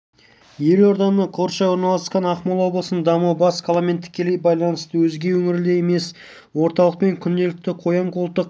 елорданы қоршай орналасқан ақмола облысының дамуы бас қаламен тікелей байланысты өзге өңірлердей емес орталықпен күнделікті қоян-қолтық